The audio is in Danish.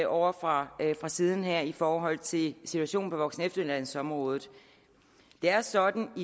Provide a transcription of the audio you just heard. ovre fra siden her i forhold til situationen på voksen og efteruddannelsesområdet det er sådan at